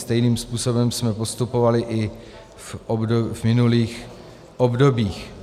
Stejným způsobem jsme postupovali i v minulých obdobích.